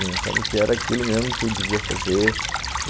Eu achava que era aquilo mesmo que eu devia fazer.